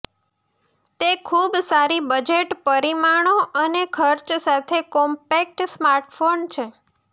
તે ખૂબ સારી બજેટ પરિમાણો અને ખર્ચ સાથે કોમ્પેક્ટ સ્માર્ટફોન છે